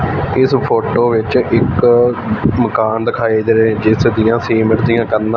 ਇਸ ਫੋਟੋ ਵਿੱਚ ਇੱਕ ਮਕਾਨ ਦਿਖਾਈ ਦੇ ਰਹੇ ਜਿਸ ਦੀਆਂ ਸੀਮੈਂਟ ਦੀਆਂ ਕੰਧਾਂ।